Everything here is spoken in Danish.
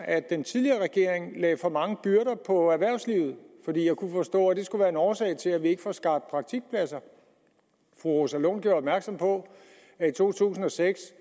at den tidligere regering lagde for mange byrder på erhvervslivet for jeg kunne forstå at det skulle være en årsag til at vi ikke får skabt praktikpladser fru rosa lund gjorde opmærksom på at i to tusind og seks